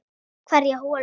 Hverja holu.